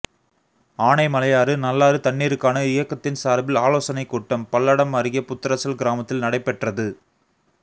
ஆனைமலையாறு நல்லாறு தண்ணீருக்கான இயக்கத்தின் சாா்பில் ஆலோசனைக் கூட்டம் பல்லடம் அருகே புத்தரச்சல் கிராமத்தில் நடைபெற்றது